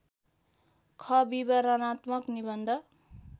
ख विवरणात्मक निबन्ध